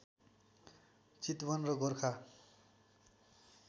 चितवन र गोर्खा